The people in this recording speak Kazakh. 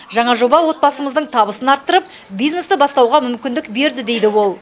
жаңа жоба отбасымыздың табысын арттырып бизнесті бастауға мүмкіндік берді дейді ол